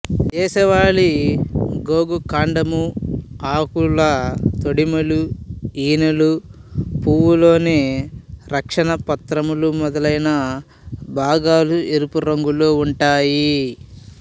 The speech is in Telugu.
దేశవాళీ గోగు కాండము ఆకుల తొడిమలు ఈనెలు పూవు లోని రక్షణ పత్రములు మొదలైన భాగాలు ఎరుపు రంగులో ఉంటాయి